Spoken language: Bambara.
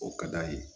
O ka d'a ye